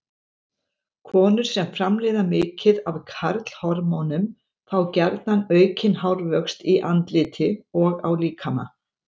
Konur sem framleiða mikið af karlhormónum fá gjarna aukinn hárvöxt í andliti og á líkama.